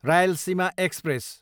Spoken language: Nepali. रायलसीमा एक्सप्रेस